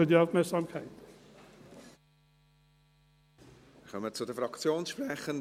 Wir kommen zu den Fraktionssprechenden.